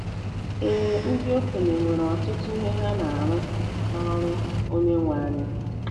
Ee, ndị okenye nwere “ọtụtụ ihe ha na-arụ n’ọrụ Onyenwe anyị .”